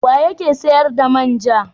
Wa yake sayar da man ja?